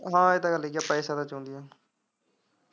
ਹਾਂ ਇਹ ਤਾਂ ਗੱਲ ਇਹੀ ਆ ਪੈਸਿਆ ਦਾ ਚਾਹੁੰਦੀਆ।